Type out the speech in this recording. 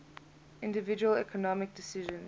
individual economic decisions